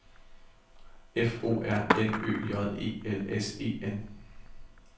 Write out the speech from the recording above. F O R N Ø J E L S E N